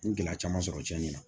N ye gɛlɛya caman sɔrɔ cɛnni na